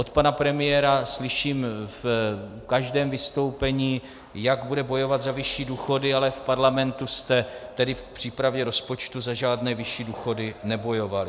Od pana premiéra slyším v každém vystoupení, jak bude bojovat za vyšší důchody, ale v parlamentu jste tedy v přípravě rozpočtu za žádné vyšší důchody nebojovali.